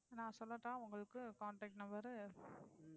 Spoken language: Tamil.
நான் சொல்லட்டா உங்களுக்கு contact number